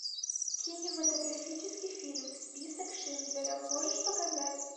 кинематографический фильм список шиндлера можешь показать